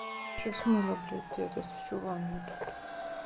сейчас мыла блядь этот всю ванну тут